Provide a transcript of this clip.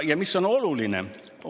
Ja mis on oluline?